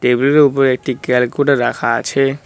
টেবিলের ওপরে একটি ক্যালকুটার রাখা আছে।